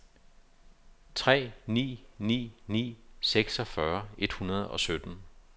tre ni ni ni seksogfyrre et hundrede og sytten